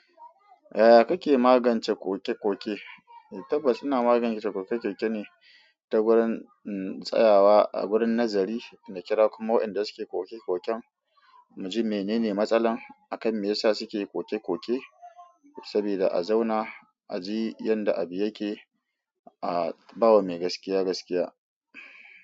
Yaya kake magance kokekoke? Tabbas ina magance kokekoke ne ta wurin tsayawa a wurin nazari, na kira kuma wa'yenda suke kokekoken, mu ji menene matsalan, akan me yasa suke kokekoke. Sabida a zauna, aji yanda abi yake, a ba wa mai gaskiya gaskiya.